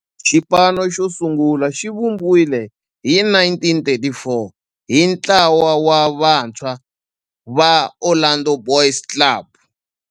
Xipano xosungula xivumbiwile hi 1934 hi ntlawa wa vantshwa va Orlando Boys Club.